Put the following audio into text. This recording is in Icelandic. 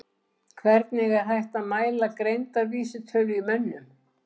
Hvernig er hægt að mæla greindarvísitölu í mönnum?